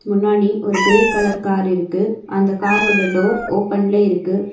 முன்னாடி ஒரு grey colour car இருக்கு அந்த காரோட டோர் ஓப்பன்ல இருக்கு.